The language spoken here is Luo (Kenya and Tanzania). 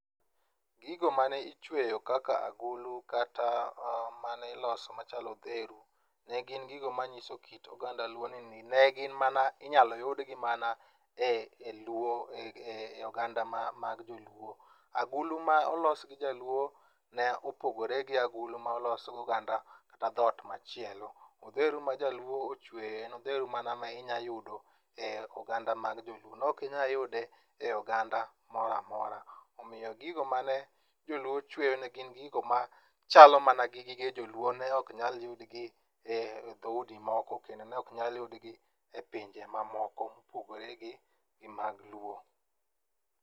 Gigo mane ichweyo kaka agulu kata mane iloso machalo odheru ne gin gigo mang'iso kit oganda luo ni ne gin mana inyalo yudgi mana e oganda mag joluo. Agulu ma olos gi jaluo ne opogore gi agulu ma olos gi oganda kata dhot machielo. Odheru majaluo ochweyo en odheru mana ma inyayudo e oganda mag joluo nokinyayude e oganda moro amora. oMIyo gigo ma ne joluo chweyo ne gin gigo machalo mana gi gige joluo ne ok nyal yudgi e dhoudi moko kendo ne ok nyal yudgi e pinje mamoko mopogore gi mag luo.